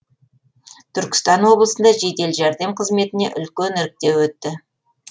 түркістан облысында жедел жәрдем қызметіне үлкен іріктеу өтті